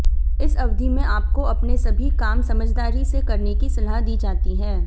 इस अवधि में आपको अपने सभी काम समझदारी से करने की सलाह दी जाती है